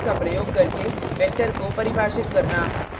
comma या space का प्रयोग करके वेक्टर को परिभाषित करना